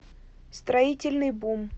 строительный бум